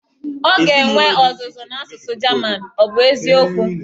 Ọ ga-enwe ọzụzụ n'asụsụ German, ọ bụ eziokwu?